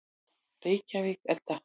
Reykjavík, Edda.